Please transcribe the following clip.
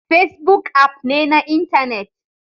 Facebook app ne na intanet